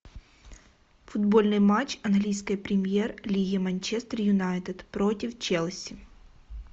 футбольный матч английской премьер лиги манчестер юнайтед против челси